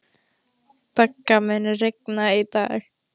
Begga, mun rigna í dag?